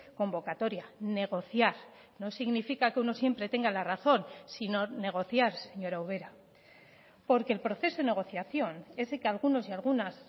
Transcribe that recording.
convocatoria negociar no significa que uno siempre tenga la razón sino negociar señora ubera porque el proceso de negociación ese que algunos y algunas